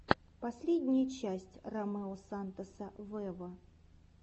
последняя часть ромео сантоса вево